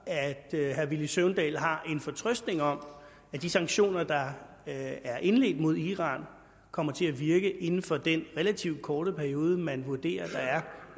at herre villy søvndal har en fortrøstning om at de sanktioner der er indledt mod iran kommer til at virke inden for den relativt korte periode som man vurderer der er